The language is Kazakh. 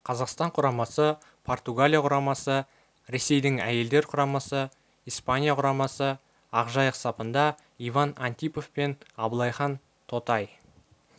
қазақстан құрамасы португалия құрамасы росейдің әйелдер құрамасы испания құрамасы ақжайық сапында иван антипов пен абылайхан тотай